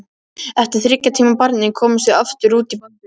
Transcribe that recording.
Eftir þriggja tíma barning komumst við aftur út í Baldur.